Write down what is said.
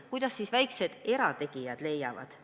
Kuidas siis väiksed erategijad leiavad?